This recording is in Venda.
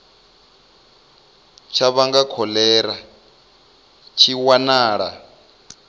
tsha vhanga kholera tshi wanala